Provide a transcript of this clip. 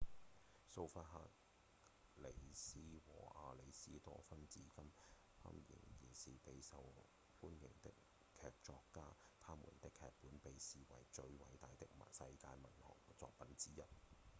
蘇弗克里茲和亞里斯多芬至今依然是備受歡迎的劇作家他們的劇本被視為最偉大的世界文學作品之一